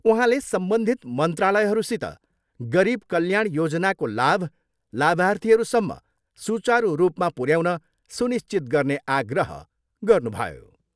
उहाँले सम्बन्धित मन्त्रालयहरूसित गरिब कल्याण योजनाको लाभ लाभार्थीहरूसम्म सुचारू रूपमा पुऱ्याउन सुनिश्चित गर्ने आग्रह गर्नुभयो।